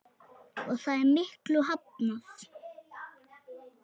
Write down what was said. Og það er miklu hafnað.